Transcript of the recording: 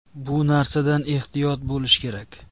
Bu narsadan ehtiyot bo‘lish kerak.